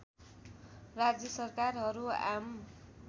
राज्य सरकारहरू आम